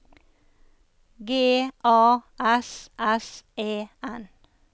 G A S S E N